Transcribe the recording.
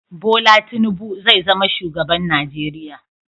Bola Tinubu zai zama shugaban Najeriya